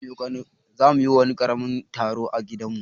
Za mu yi wani karamin taro a gidan mu.